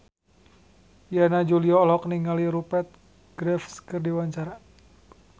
Yana Julio olohok ningali Rupert Graves keur diwawancara